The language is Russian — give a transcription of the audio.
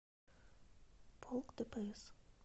полк дпс